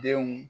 Denw